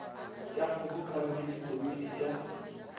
tša kgobokano le dikomiti tša